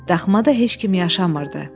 Daxmada heç kim yaşamırdı.